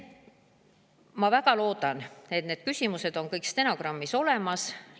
Ma väga loodan, et need küsimused on kõik stenogrammis olemas.